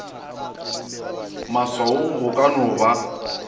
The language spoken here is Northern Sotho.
maswaong go ka no ba